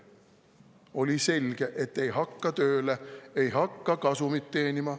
Oli selge, et ei hakka tööle, ei hakka kasumit teenima.